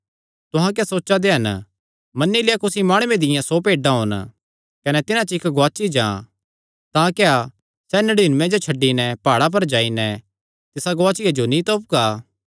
तुहां क्या सोचा दे हन मन्नी लेआ कुसी माणुये दियां सौ भेड्डां होन कने तिन्हां च इक्क गुआची जां तां क्या सैह़ नड़ीनूयें जो छड्डी नैं प्हाड़ां पर जाई नैं तिसा गुआचिया जो नीं तोपगा